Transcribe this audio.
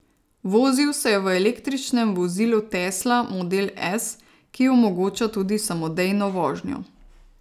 Vozil se je v električnem vozilu tesla model S, ki omogoča tudi samodejno vožnjo.